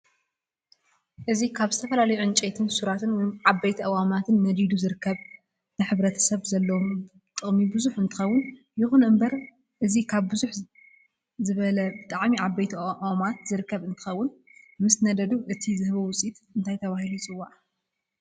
እዚ ካብ ዝተፈላላዩ ዕንጨይቲ ሱራት ወይ ዓበይቲ ኣእዋማት ነዲዱ ዝርከብ ንሕሰብ ዘለዎ ጥቅሚ ቡዝሕ እንትከውን ይኩን እንበር እ ዚ ካብ ቡዝሕ ዝበለ ብጣዓሚ ዓበይቲ ኦማት ዝርከብ እንትከውን ምስ ነዲዱ እቲ ዝህቦ ውፅኢ እንታይ ተበሂሉ ይፅዋዕ?